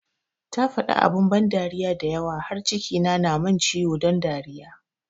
Ta faɗi abun ban dariya da yawa har cikina na mun ciwo don dariya